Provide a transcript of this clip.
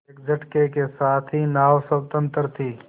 एक झटके के साथ ही नाव स्वतंत्र थी